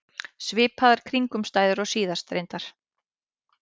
Svipaðar kringumstæður og síðast, reyndar.